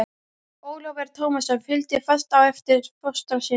Ólafur Tómasson fylgdi fast á eftir fóstra sínum.